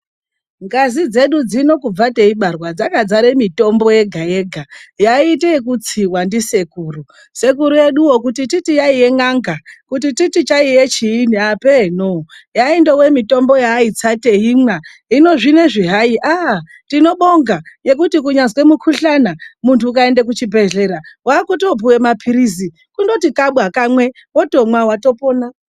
Ngazi dzedu dzino kubva teibarwa dzakadzare mitombo yega yega yaiite kutsiwa ndisekuru. Sekuru eduwo kuti titi yaive n'anga kuti titi chaiye chiini apenoo, yainfove mitombo yavaitsa teimwa. Hino zvinezvi hai tinobonga ngekuti kunyazwe mukuhlana munthu ukaende kuchibhedhlera unopiwe maphilizi, kundoti kabwa kamwe, wotomwa, watopona.